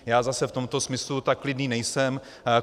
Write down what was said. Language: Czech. Já zase v tomto smyslu tak klidný nejsem.